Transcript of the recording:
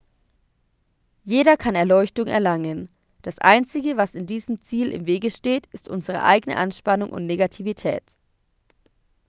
jeder kann erleuchtung erlangen das einzige was diesem ziel im wege steht ist unsere eigene anspannung und negativität